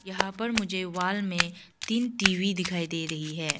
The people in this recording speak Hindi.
यहां पर मुझे वाल में तीन टी_वी दिखाई दे रही है।